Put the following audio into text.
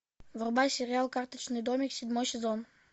врубай сериал карточный домик седьмой сезон